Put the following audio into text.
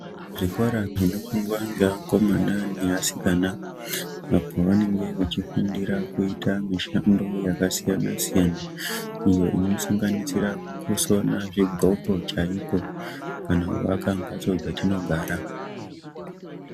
Zvikora zvinofundwa ngevakomana nevasikana, apo pavanenge vachifundira kuyita mishando yakasiyana-siyana, iyo inosanganisira kusona zvidxoko chayiko, kana kuaka mbatso dzatinogara.